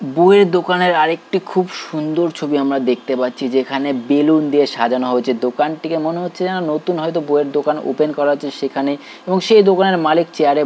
বইয়ের দোকানের আরেকটি খুব সুন্দর ছবি আমরা দেখতে পাচ্ছি যেখানে বেলুন দিয়ে সাজানো হয়েছে দোকানটিকে মনে হচ্ছে যেন নতুন হয়তো বইয়ের দোকান ওপেন করা আছে সেখানে এবং সেই দোকানের মালিক চেয়ারে--